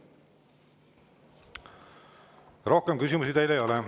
Rohkem küsimusi teile ei ole.